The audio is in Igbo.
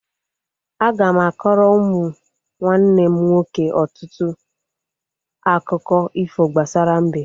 Aga m akọrọ ụmụ nwanne m nwoke ọtụtụ akụkọ ifo gbasara mbe